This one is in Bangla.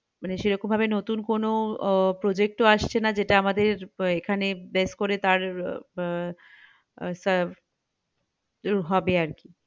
মানে সেরকম ভাবে নতুন কোনো উহ project তো আসছেনা যেটা আমাদের এখানে place করে তার উহ শুরু হবে আর কি